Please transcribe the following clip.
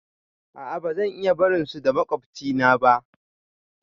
A a ba zan iya barin su da maƙwabcina ba